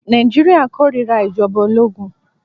Nàìjíríà kórira ìjọba ológun.